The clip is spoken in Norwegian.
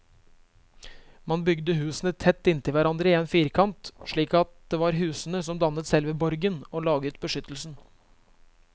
Man bygde husene tett inntil hverandre i en firkant, slik at det var husene som dannet selve borgen og laget beskyttelsen.